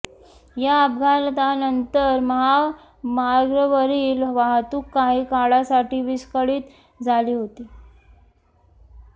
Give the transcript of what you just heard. या अपघातानंतर महामार्गावरील वाहतूक काही काळासाठी विस्कळीत झाली होती